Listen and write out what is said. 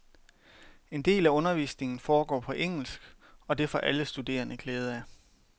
En del af undervisningen foregår på engelsk, og det får alle studerende glæde af.